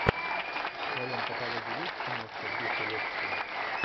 в твоем каталоге есть киношка в духе лекции